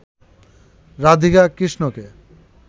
রাধিকা কৃষ্ণকে